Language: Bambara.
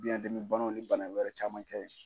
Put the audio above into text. Biyɛndimi banaw ni bana wɛrɛ caman kɛ